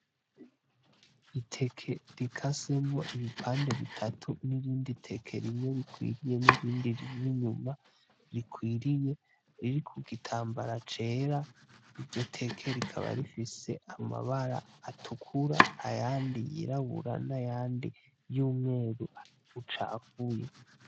Iteke rikasemwo ibipande bitatu n'irindi teke rimwe rikwiriye n'irindi rimwe inyuma rikwiriye riri kugitambara cera, iryo teke rikaba rifise amabara atukura ayandi y'irabura n'ayandi y'umweru ucapfuye.